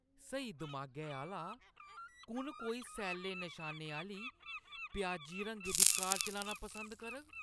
स्हेई दमागै आह्‌ला कु'न कोई सैल्ले नशानें आह्‌ली प्याजी रंगै दी कार चलाना पसंद करग?